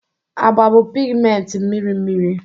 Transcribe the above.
agba bụ pigmenti mmiri mmiri